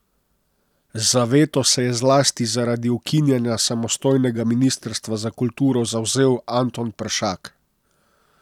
Za veto se je zlasti zaradi ukinjanja samostojnega ministrstva za kulturo zavzel Anton Peršak.